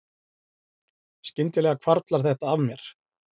Skyndilega hvarflar þetta að mér